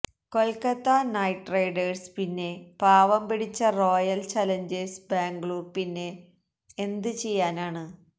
Kolkata night riders പിന്നെ പാവം പിടിച്ച റോയൽ ചാലഞ്ചേഴ്സ് ബാംഗ്ലൂർ പിന്നെ എന്ത് ചെയ്യാനാണ്